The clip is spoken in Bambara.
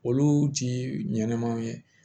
Olu ti ɲɛnamaw ye